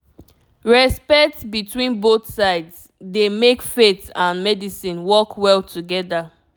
respect between both sides dey make faith and medicine work well together